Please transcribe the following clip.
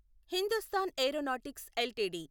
Hindustan aeronautics LTD